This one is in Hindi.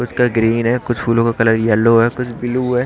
कुछ का ग्रीन है कुछ फूलों का कलर येलो है कुछ ब्लू है।